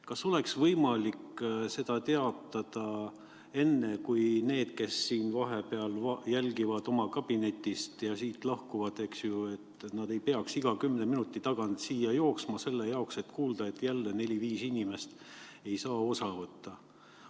Kas oleks võimalik seda teatada enne, kui need, kes vahepeal jälgivad oma kabinetist, siit lahkuvad, et nad ei peaks iga kümne minuti tagant siia jooksma, et kuulda, et jälle neli-viis inimest ei saa osa võtta.